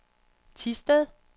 Thisted